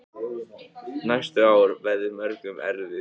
Næstu ár verði mörgum erfið.